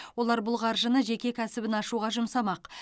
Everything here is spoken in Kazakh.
олар бұл қаржыны жеке кәсібін ашуға жұмсамақ